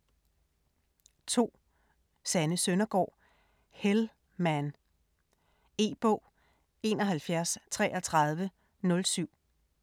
2. Søndergaard, Sanne: Hell man E-bog 713307